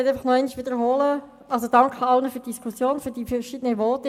Kommissionssprecherin der FiKo-Mehrheit.Danke für die Diskussion und die verschiedenen Voten.